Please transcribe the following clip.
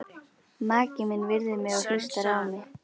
Maki minn virðir mig og hlustar á mig.